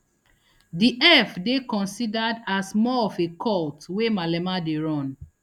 di eff dey considered as more of a cult wey malema dey run